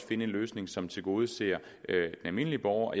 finde en løsning som tilgodeser almindelige borgere og